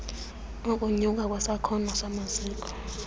ukunyuka kwesakhono samaziko